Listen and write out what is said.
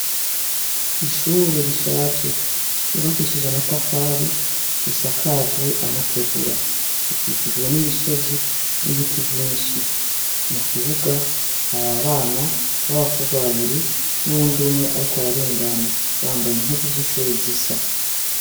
ishure rishaje ryubakishije amatafari risakajwe amategura rikikijwe n'imisozi n'ibiti vyinshi mu kibuga hari abana b'abakobwa babiri n'uwundi umwe ariko ararengana bambaye impuzu z'ishure zisa